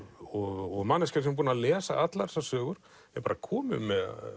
og manneskja sem er búin að lesa allar þessar sögur er komin